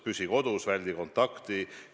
Püsi kodus ja väldi kontakti!